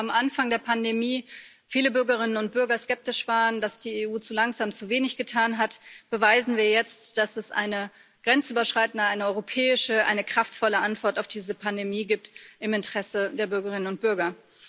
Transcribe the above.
Nachdem ja am Anfang der Pandemie viele Bürgerinnen und Bürger skeptisch waren, dass die EU zu langsam zu wenig getan hat, beweisen wir jetzt, dass es eine grenzüberschreitende, eine europäische, eine kraftvolle Antwort auf diese Pandemie gibt im Interesse der Bürgerinnen und Bürger.